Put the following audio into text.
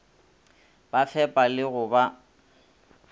ba fepa le go ba